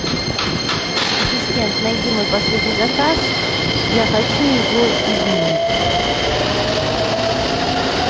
ассистент найди мой последний заказ я хочу его изменить